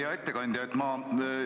Hea ettekandja!